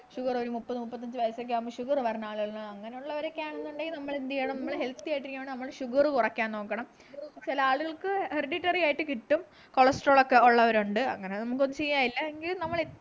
sugar ഒരു മുപ്പത് മുപ്പത്തഞ്ച് വയസ്സ്ഒക്കെ ആവുമ്പോ sugar വരുന്ന ആളുകളാണ് അങ്ങനെയുള്ള വരൊക്കെയാണെന്നുണ്ടെങ്കിൽ നമ്മൾ എന്ത് ചെയ്യണം നമ്മള് healthy ആയിട്ടിരിക്കണമെങ്കിൽ sugar കുറയ്ക്കാൻ നോക്കണം ചില ആളുകൾക്ക് hereditary ആയിട്ട് കിട്ടും cholesterol ഒക്കെ ഉള്ളവരുണ്ട് അങ്ങനെ നമുക്കൊന്നും ചെയ്യാനില്ല എങ്കിൽ നമ്മള്